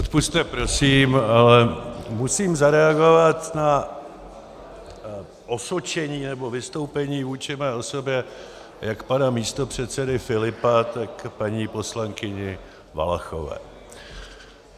Odpusťte prosím, ale musím zareagovat na osočení nebo vystoupení vůči mé osobě jak pana místopředsedy Filipa, tak paní poslankyně Valachové.